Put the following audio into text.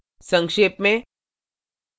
संक्षेप में